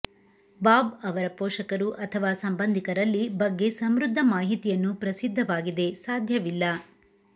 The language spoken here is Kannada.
ಬಾಬ್ ಅವರ ಪೋಷಕರು ಅಥವಾ ಸಂಬಂಧಿಕರಲ್ಲಿ ಬಗ್ಗೆ ಸಮೃದ್ಧ ಮಾಹಿತಿಯನ್ನು ಪ್ರಸಿದ್ಧವಾಗಿದೆ ಸಾಧ್ಯವಿಲ್ಲ